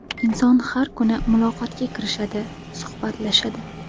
Inson har kuni muloqotga kirishadi, suhbatlashadi.